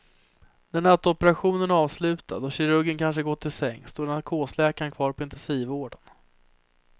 När nattoperationen är avslutad och kirurgen kanske gått till sängs står narkosläkaren kvar på intensivvården.